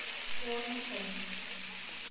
keo olmuhogo?